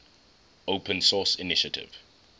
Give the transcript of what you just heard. open source initiative